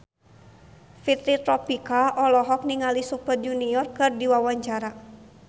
Fitri Tropika olohok ningali Super Junior keur diwawancara